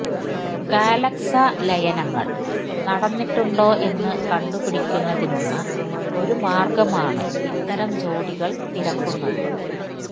galaxy ലയനങ്ങൾ നടന്നിട്ടുണ്ടോ എന്ന് കണ്ടുപിടിക്കുന്നതിനുള്ള ഒരു മാർഗമാണ് ഇത്തരം ജോഡികൾ തിരക്കുന്നത്